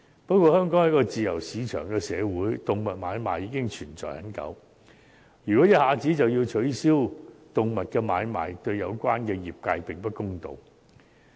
不過，香港是一個自由市場的社會，動物買賣亦存在已久，如果一下子取消動物買賣，對有關業界並不公道。